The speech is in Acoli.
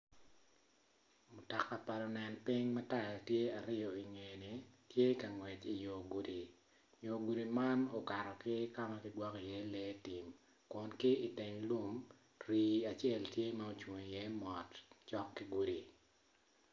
Mutoka pa lunen piny ma taya tye aryo i ngeye tye ka ngwec i gudi yo gudi man okato ki kama kineno iye lee kun ki i teng lum rii tye ma ocung iye mot.